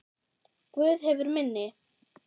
Guð hefur minni.